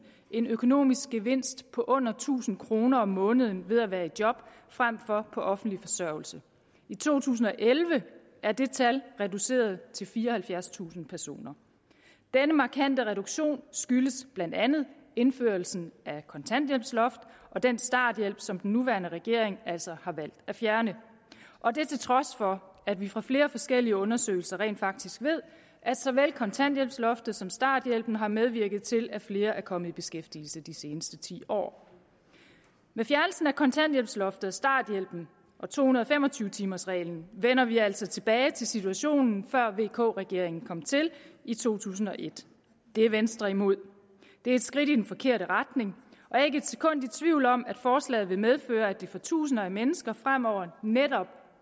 en økonomisk gevinst på under tusind kroner om måneden ved at være i job frem for på offentlig forsørgelse i to tusind og elleve er det tal reduceret til fireoghalvfjerdstusind personer denne markante reduktion skyldes blandt andet indførelsen af kontanthjælpsloft og den starthjælp som den nuværende regering altså har valgt at fjerne og det er til trods for at vi fra flere forskellige undersøgelser rent faktisk ved at såvel kontanthjælpsloftet som starthjælpen har medvirket til at flere er kommet i beskæftigelse de seneste ti år med fjernelsen af kontanthjælpsloftet og starthjælpen og to hundrede og fem og tyve timers reglen vender vi altså tilbage til situationen fra før vk regeringen kom til i to tusind og et det er venstre imod det er et skridt i den forkerte retning og jeg er ikke et sekund i tvivl om at forslaget vil medføre at det for tusinde af mennesker fremover netop